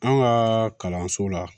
An ka kalanso la